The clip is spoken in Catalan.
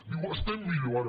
diu estem millor ara